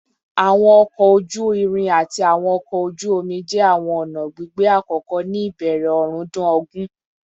Awọn ọkọ oju-irin ati awọn ọkọ oju-omi jẹ awọn ọna gbigbe akọkọ ni ibẹrẹ ọrundun ogun